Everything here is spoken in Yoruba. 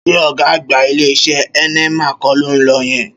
Ṣé ọ̀gá àgbà ilé-iṣẹ́ Heineman kọ́ ló ń lọ yẹn?